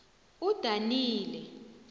udanile